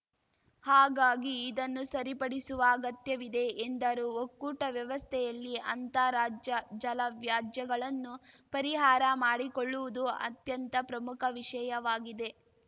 ಹಾಗಾಗಿ ಇದನ್ನು ಸರಿಪಡಿಸುವ ಅಗತ್ಯವಿದೆ ಎಂದರು ಒಕ್ಕೂಟ ವ್ಯವಸ್ಥೆಯಲ್ಲಿ ಅಂತಾರಾಜ್ಯ ಜಲ ವ್ಯಾಜ್ಯಗಳನ್ನು ಪರಿಹಾರ ಮಾಡಿಕೊಳ್ಳುವುದು ಅತ್ಯಂತ ಪ್ರಮುಖ ವಿಷಯವಾಗಿದೆ